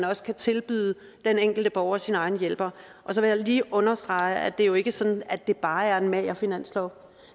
også kan tilbyde den enkelte borger sin egen hjælper så vil jeg lige understrege at det jo ikke er sådan at det bare er en mager finanslov